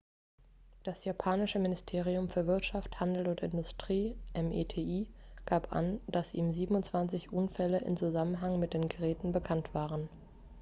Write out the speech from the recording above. das japanische ministerium für wirtschaft handel und industrie meti gab an dass ihm 27 unfälle im zusammenhang mit den geräten bekannt waren